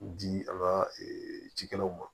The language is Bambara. Di an ka cikɛlaw ma